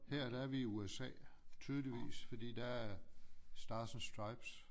Her der er vi i USA tydeligvis fordi der er stars and stripes